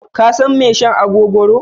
Ka san mai shan agogoro?